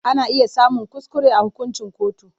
Ana iya samun kuskure a hukuncin kotu.